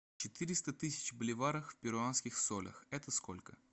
четыреста тысяч боливаров в перуанских солях это сколько